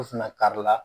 U fana kari la